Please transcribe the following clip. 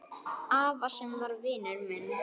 Afa sem var vinur minn.